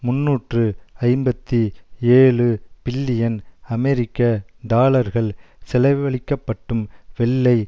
முன்னூற்று ஐம்பத்தி ஏழு பில்லியன் அமெரிக்க டாலர்கள் செலவழிக்கப்பட்டும் வெள்ளை